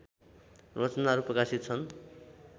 रचनाहरू प्रकाशित छन्